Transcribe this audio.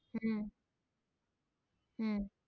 হম হম,